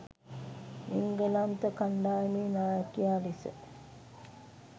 එංගලන්ත කණ්ඩායමේ නායකයා ලෙස